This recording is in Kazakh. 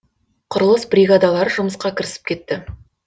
құрылыс бригадалары жұмысқа кірісіп кетті